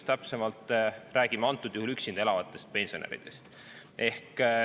Täpsemalt räägime antud juhul üksinda elavatest pensionäridest.